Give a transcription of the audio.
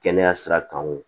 Kɛnɛya sira kan wo